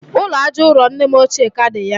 ụlọ aja ụrọ nne m ochie ka dị ya.